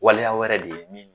Waleya wɛrɛ de ye min